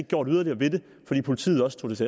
gjort yderligere ved det fordi politiet også tog